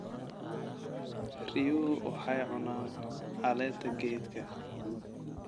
Riyuhu waxay cunaan caleenta geedka.